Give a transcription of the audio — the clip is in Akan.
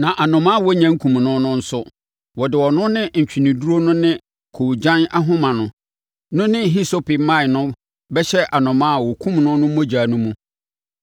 Na anomaa a wɔnnya nkum no no nso, wɔde ɔno ne ntweneduro no ne koogyan ahoma no ne hisope mman no bɛhyɛ anomaa a wɔkumm no no mogya no mu.